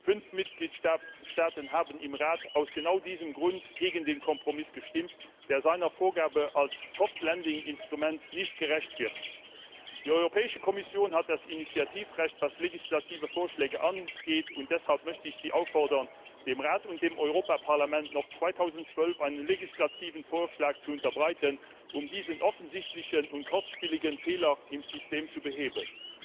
Fünf Mitgliedstaaten haben im Rat aus genau diesem Grund gegen den Kompromiss gestimmt, der seiner Vorgabe als soft lending Instrument nicht gerecht wird. Die Europäische Kommission hat das Initiativrecht, was legislative Vorschläge angeht, und deshalb möchte ich Sie auffordern, dem Rat und dem Europäischen Parlament noch 2012 einen legislativen Vorschlag zu unterbreiten, um diesen offensichtlichen und kostspieligen Fehler im System zu beheben.